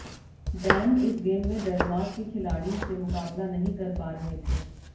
Dan इस game में Denmark के खिलाड़ी से मुकाबला नहीं कर पा रहे थे